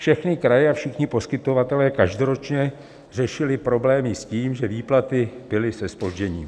Všechny kraje a všichni poskytovatelé každoročně řešili problémy s tím, že výplaty byly se zpožděním.